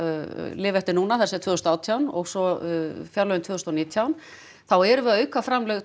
lifa eftir núna það er tvö þúsund og átján og svo tvö þúsund og nítján þá erum við að auka framlög